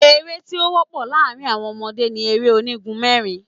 Eré́ tí ó wọ́pọ̀ láàrin àwọn ọmọdé ni eré onígun mẹ́rin.